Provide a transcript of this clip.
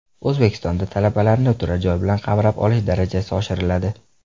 O‘zbekistonda talabalarni turar joy bilan qamrab olish darajasi oshiriladi.